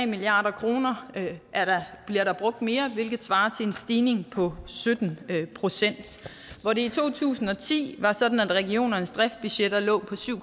milliard kroner bliver der brugt mere hvilket svarer til en stigning på sytten procent hvor det i to tusind og ti var sådan at regionernes driftsbudgetter lå på syv